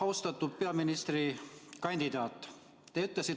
Austatud peaministrikandidaat!